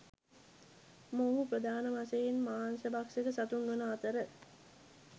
මොවුහු ප්‍රධාන වශයෙන් මාංශ භක්ෂක සතුන් වන අතර